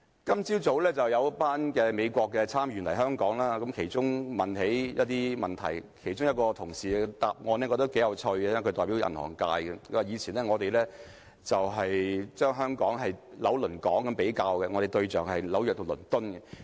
今早有一群美國參議員來港，他們問到一些問題，其中一位代表銀行界的同事的答案我覺得頗有趣，他說，以前我們以"紐倫港"來比較，我們的仿效對象是紐約和倫敦。